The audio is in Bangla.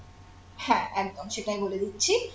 হ্যাঁ একদম সেটাই বলে দিচ্ছি